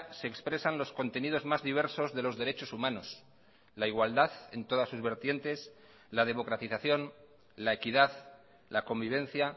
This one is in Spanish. se expresan los contenidos más diversos de los derechos humanos la igualdad en todas sus vertientes la democratización la equidad la convivencia